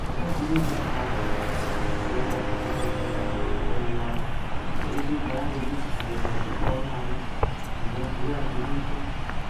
Zvakadini kunaka kuenda kuzvibhedhlera kundohloyiwa kuburikidza ngemidziyo yatinoonamwo inobhuya gwinyiso